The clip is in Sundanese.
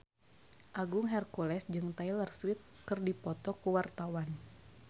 Agung Hercules jeung Taylor Swift keur dipoto ku wartawan